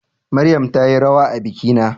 Maryam tayi rawa a bikina